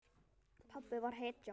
Pabbi var hetja.